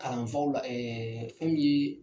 Kalanfaw la fɛn min ye